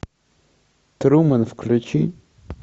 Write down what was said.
трумен включи